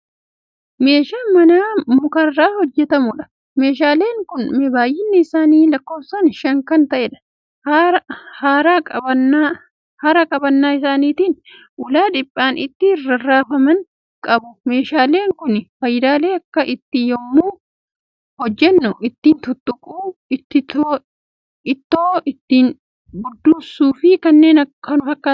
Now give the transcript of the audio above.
Meeshaa manaa mukarraa hojjatamuudha. meeshaaleen Kuni baay'inni isaanii lakkoofsaan Shan Kan ta'eedha. hara qabannaa isaanitiin ulaa dhiphaan ittin rarraafaman qabu. meeshaaleen Kuni faayidaalee akka it too yemmuu hojjannu ittiin tuttuquu, it too ittiin budduusuufi kanneen kana fakkaatan qabu.